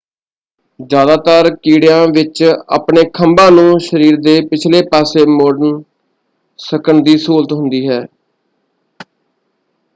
ਜ਼ਿਆਦਾਤਰ ਕੀੜਿਆਂ ਵਿੱਚ ਆਪਣੇ ਖੰਭਾਂ ਨੂੰ ਸ਼ਰੀਰ ਦੇ ਪਿਛਲੇ ਪਾਸੇ ਮੋੜਣ ਸਕਣ ਦੀ ਸਹੂਲਤ ਹੁੰਦੀ ਹੈ।